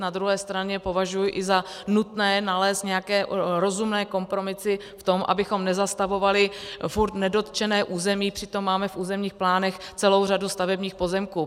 Na druhé straně považuji i za nutné nalézt nějaké rozumné kompromisy v tom, abychom nezastavovali furt nedotčené území, přitom máme v územních plánech celou řadu stavebních pozemků.